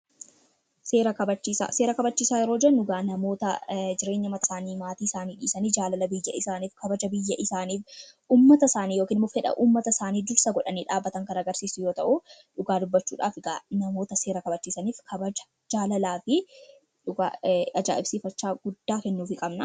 Seera kabachiisaa: Seeraan kabajiichaa jechuun namoota maatii isaanii dhiisanii biyya isaanii yookiin fedhii uummata isaanii dursa kan godhan kan agarsiisudha. Kanaafuu namoota seera kabachiisaniif jaalala, kabajaa fi ajaa'ibsiifannaa kennuufiin barbaachisaadha.